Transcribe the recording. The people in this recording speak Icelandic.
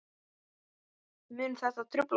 Mun þetta trufla mig?